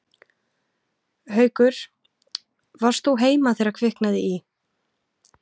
Haukur: Varst þú heima þegar að kviknaði í?